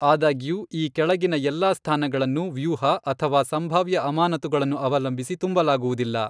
ಆದಾಗ್ಯೂ ಈ ಕೆಳಗಿನ ಎಲ್ಲಾ ಸ್ಥಾನಗಳನ್ನು, ವ್ಯೂಹ ಅಥವಾ ಸಂಭಾವ್ಯ ಅಮಾನತುಗಳನ್ನು ಅವಲಂಬಿಸಿ ತುಂಬಲಾಗುವುದಿಲ್ಲ.